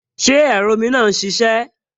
Ṣé ẹ̀rọ omi náà n ṣiṣẹ́?